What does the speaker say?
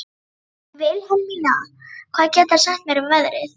Vilhelmína, hvað geturðu sagt mér um veðrið?